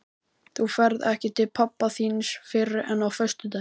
Þú ferð ekki til pabba þíns fyrr en á föstudaginn.